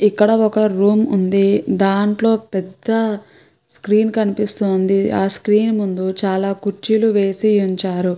ఇక్కడ ఒక రూమ్ ఉంది. దాంట్లో పెద్ద స్క్రీన్ కనిపిస్తోంది. ఆ స్క్రీన్ ముందు చాలా కుచ్చులు వేసి ఉంచారు.